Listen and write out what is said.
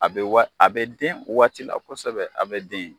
A be wa a bɛ den o waati la kosɛbɛ a bɛ den.